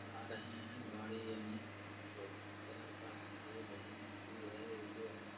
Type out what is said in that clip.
आ रहे है। गाड़ी अनेक बहोत कलर का है। रेड है ब्लू है येलो है।